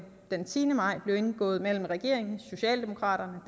af den tiende maj blev indgået mellem regeringen socialdemokraterne